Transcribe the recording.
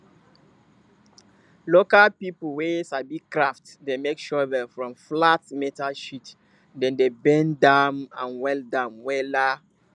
local pipul wey sabi craft dey make shovel from flat metal sheet dem dey bend am and weld am wela